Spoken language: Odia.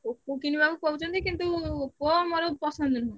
Oppo କିଣିବାକୁ କହୁଛନ୍ତି କିନ୍ତୁ Oppo ମୋର ପସନ୍ଦ ନୁହଁ।